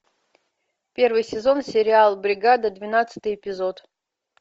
первый сезон сериал бригада двенадцатый эпизод